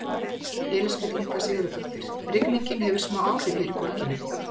Elísabet Inga Sigurðardóttir: Rigningin hefur smá áhrif hér í borginni?